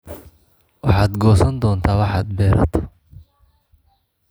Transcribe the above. Waxaad goosan doontaa waxaad beerato.